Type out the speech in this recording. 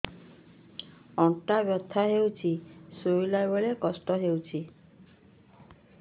ଅଣ୍ଟା ବଥା ହଉଛି ଶୋଇଲା ବେଳେ କଷ୍ଟ ହଉଛି